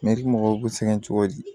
mɔgɔw bɛ sɛgɛn cogo di